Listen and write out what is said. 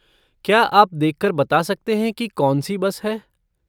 क्या आप देख कर बता सकते हैं कि कौन सी बस है?